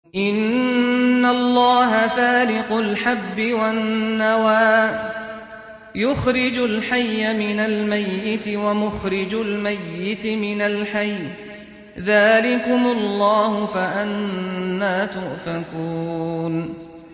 ۞ إِنَّ اللَّهَ فَالِقُ الْحَبِّ وَالنَّوَىٰ ۖ يُخْرِجُ الْحَيَّ مِنَ الْمَيِّتِ وَمُخْرِجُ الْمَيِّتِ مِنَ الْحَيِّ ۚ ذَٰلِكُمُ اللَّهُ ۖ فَأَنَّىٰ تُؤْفَكُونَ